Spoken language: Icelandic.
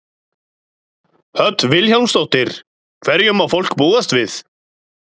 Hödd Vilhjálmsdóttir: Hverju má fólk búast við?